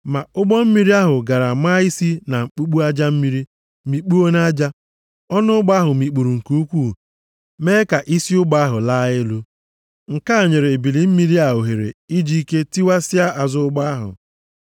Ma ụgbọ mmiri ahụ gara maa isi na mkpumkpu aja mmiri, mikpuo nʼaja. Ọnụ ụgbọ ahụ mikpuru nke ukwuu mee ka isi ụgbọ ahụ laa elu, nke a nyere ebili mmiri a ohere iji ike tiwasịa azụ ụgbọ ahụ.